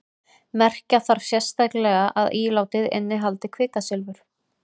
merkja þarf sérstaklega að ílátið innihaldi kvikasilfur